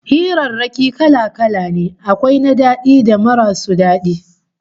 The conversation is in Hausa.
Hirarraki kala-kala ne, akwai na daɗi da marasu daɗi